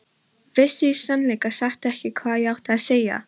Vissi í sannleika sagt ekki hvað ég átti að segja.